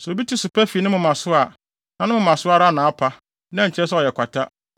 Sɛ obi ti so pa fi ne moma so a, na ne moma so ara na apa, na ɛnkyerɛ sɛ ɛyɛ kwata.